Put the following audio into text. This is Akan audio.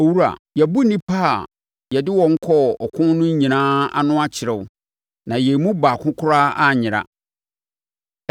“Owura yɛabu nnipa a yɛde wɔn kɔɔ ɔko no nyinaa ano akyerɛ wo na yɛn mu baako koraa anyera.